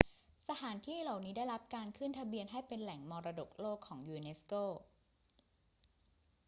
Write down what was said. สถานที่เหล่านี้ได้รับการขึ้นทะเบียนให้เป็นแหล่งมรดกโลกของยูเนสโก